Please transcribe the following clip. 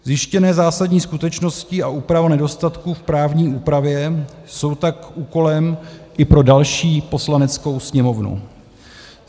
Zjištěné zásadní skutečnosti a úprava nedostatků v právní úpravě jsou tak úkolem i pro další Poslaneckou sněmovnu.